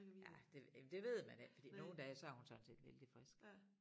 Ja det ja det ved man ikke fordi nogle dage så er hun sådan set vældig frisk